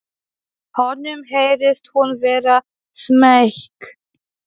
Honum heyrist hún vera smeyk.